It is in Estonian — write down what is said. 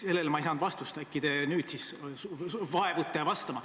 Sellele ma ei saanud vastust, äkki te nüüd vaevute vastama.